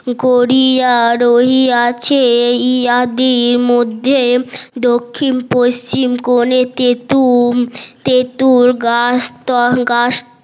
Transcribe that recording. গরিয়া রহিয়াছে দক্ষিণ পশ্চিম কোণে তেতুল তেতুল গাছ ত গাছ